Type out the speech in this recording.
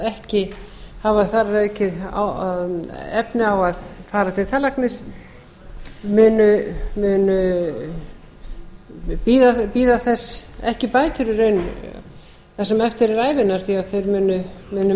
ekki hafa þar að auki efni á að fara til tannlæknis munu ekki bíða þess bætur í raun það sem eftir er ævinnar því að þeir munu